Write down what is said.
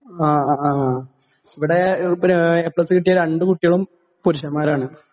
ങാ...ഇവിടെ A plus കിട്ടിയ രണ്ട് കുട്ടികളും പുരുഷന്മാരാണ്.